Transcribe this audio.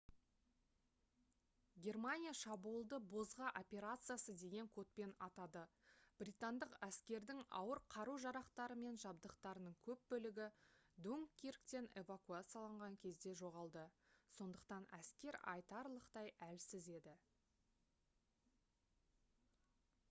германия шабуылды «бозғы операциясы» деген кодпен атады. британдық әскердің ауыр қару-жарақтары мен жабдықтарының көп бөлігі дункирктен эвакуацияланған кезде жоғалды сондықтан әскер айтарлықтай әлсіз еді